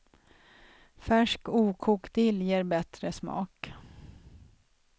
Färsk okokt dill ger bättre smak.